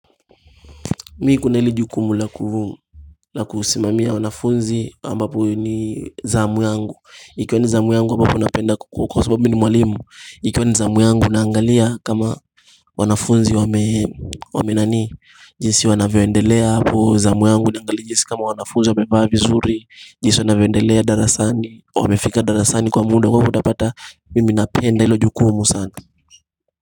Mimi kuna lile jukumu laku Lakusimamia wanafunzi ambapo ni zamu yangu. Ikiwani zamu yangu ambapo napenda kuku kwa sababu mimi ni mwalimu Ikiwa ni zamu yangu naangalia kama wanafunzi wa mee Wamee nani jinsi wanavyoendelea hapo zamu yangu naangalia jinsi kama wanafunzi wamevaa vizuri jinsi wanavyoendelea darasani wamefika darasani kwa muda huwapo utapata mimi napenda ilo jukumu sana.